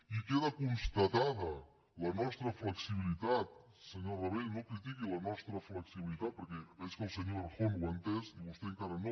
i queda constatada la nostra flexibilitat senyor rabell no critiqui la nostra flexibilitat perquè veig que el senyor errejón ho ha entès i vostè encara no